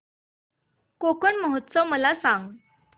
कोकण महोत्सव मला सांग